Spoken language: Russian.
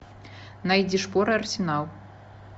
найди шпоры арсенал